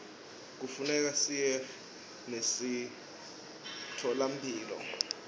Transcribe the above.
kufuneka siye nasemitfolamphilo